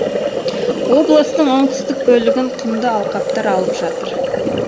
облыстың оңтүстік бөлігін құмды алқаптар алып жатыр